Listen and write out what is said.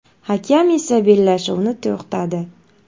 Hakam esa bellashuvni to‘xtadi.